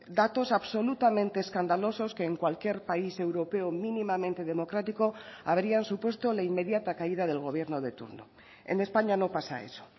datos absolutamente escandalosos que en cualquier país europeo mínimamente democrático habrían supuesto la inmediata caída del gobierno de turno en españa no pasa eso